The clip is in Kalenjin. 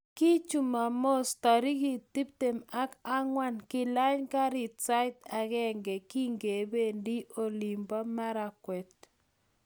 kii jumamos, tariik tuptem ak angwan kilay karit sait agenge kingebendi olin bo Marakwet